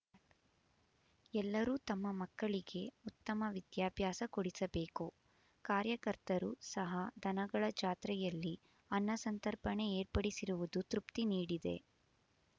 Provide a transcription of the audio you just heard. ಎಲ್ಲರೂ ತಮ್ಮ ಮಕ್ಕಳಿಗೆ ಉತ್ತಮ ವಿದ್ಯಾಭ್ಯಾಸ ಕೊಡಿಸಬೇಕು ಕಾರ್ಯಕರ್ತರು ಸಹ ದನಗಳ ಜಾತ್ರೆಯಲ್ಲಿ ಅನ್ನ ಸಂತರ್ಪಣೆ ಏರ್ಪಡಿಸಿರುವುದು ತೃಪ್ತಿ ನೀಡಿದೆ